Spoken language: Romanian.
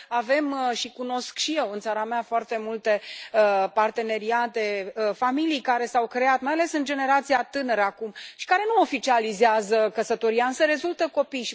Avem, și cunosc și eu în țara mea, foarte multe parteneriate, familii care s au creat, mai ales în generația tânără, acum, și care nu oficializează căsătoria, însă rezultă copii.